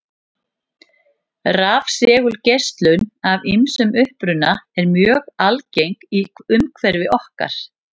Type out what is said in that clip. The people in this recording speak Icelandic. Rafsegulgeislun af ýmsum uppruna er mjög algeng í umhverfi okkar.